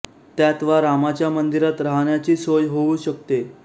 त्यात वा रामाच्या मंदिरात राहण्याची सोय होऊ शकते